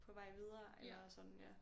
På vej videre eller sådan ja